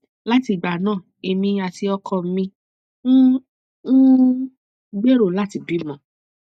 láti ìgbà náà èmi àti ọkọ mi ń um gbèrò láti bímọ